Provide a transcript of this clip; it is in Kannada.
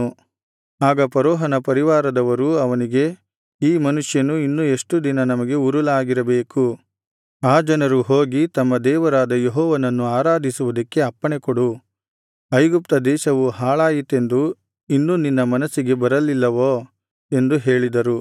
ಆಗ ಫರೋಹನ ಪರಿವಾರದವರು ಅವನಿಗೆ ಈ ಮನುಷ್ಯನು ಇನ್ನು ಎಷ್ಟು ದಿನ ನಮಗೆ ಉರುಲಾಗಿರಬೇಕು ಆ ಜನರು ಹೋಗಿ ತಮ್ಮ ದೇವರಾದ ಯೆಹೋವನನ್ನು ಆರಾಧಿಸುವುದಕ್ಕೆ ಅಪ್ಪಣೆಕೊಡು ಐಗುಪ್ತ ದೇಶವು ಹಾಳಾಯಿತೆಂದು ಇನ್ನು ನಿನ್ನ ಮನಸ್ಸಿಗೆ ಬರಲಿಲ್ಲವೋ ಎಂದು ಹೇಳಿದರು